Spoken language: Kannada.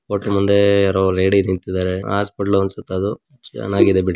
ಹೋಟೆಲ್ ಮುಂದೆ ಯಾರೋ ಲೇಡಿ ನಿಂತ್ತಿದ್ದಾರೆ ಹಾಸ್ಪಿಟಲ್ ಅನಿಸುತ್ತೆ ಅದು ಚೆನ್ನಾಗಿದೆ ಬಿಡಿ.